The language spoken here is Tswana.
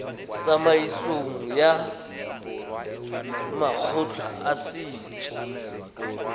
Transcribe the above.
tsamaisong ya makgotla a setso